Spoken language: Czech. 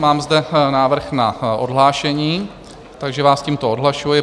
Mám zde návrh na odhlášení, takže vás tímto odhlašuji.